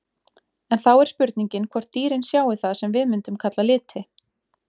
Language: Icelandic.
En þá er spurningin hvort dýrin sjái það sem við mundum kalla liti?